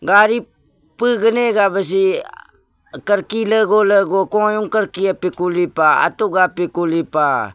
gari pigvnv gah bvghi karki lvguh lvguh kuyung karki kulih pah.